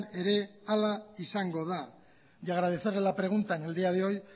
ere hala izango da y agradecerle la pregunta en el día de hoy